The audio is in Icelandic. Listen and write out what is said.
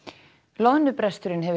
loðnubresturinn hefur